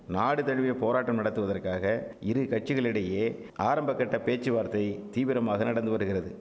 நாடுதழுவிய போராட்டம் நடத்துவதற்காக இருகட்சிகளிடையே ஆரம்ப கட்ட பேச்சுவார்த்தை தீவிரமாக நடந்துவருகிறது